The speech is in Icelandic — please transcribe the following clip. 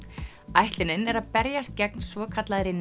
ætlunin er að berjast gegn svokallaðri